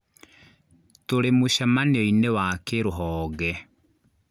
Tũrĩ mũcemanio-inĩ wa kĩrũhonge